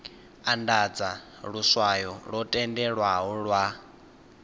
andadza luswayo lwo tendelwaho lwa